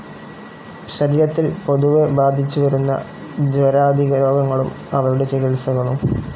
ശരീരത്തിൽ പൊതുവേ ബാധിച്ചുവരുന്ന ജ്വരാദിരോഗങ്ങളും അവയുടെ ചികിത്സകളും.